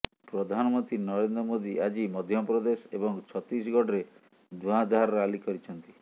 ପ୍ରଧାନମନ୍ତ୍ରୀ ନରେନ୍ଦ୍ର ମୋଦି ଆଜି ମଧ୍ୟପ୍ରଦେଶ ଏବଂ ଛତିଶଗଡରେ ଧୁଆଁଧାର ରାଲି କରିଛନ୍ତି